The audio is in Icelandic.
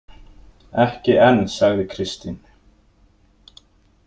Ekki enn, sagði Kristín.